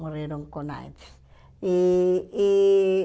Morreram com AIDS. E e